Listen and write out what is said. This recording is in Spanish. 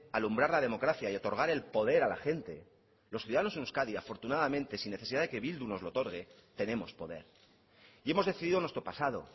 alumbrar la democracia y otorgar el poder a la gente los ciudadanos en euskadi afortunadamente sin necesidad de que bildu no lo otorgue tenemos poder y hemos decidido nuestro pasado